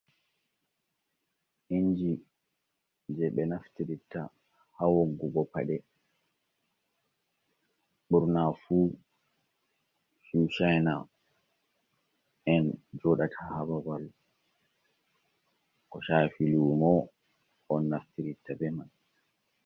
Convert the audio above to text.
Inji je ɓe naftiritta ha woggugo paɗe. Ɓurna fu shushena en joɗata hababal ko shafi lumo on naftiritta be man.